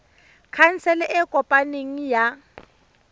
khansele e e kopaneng ya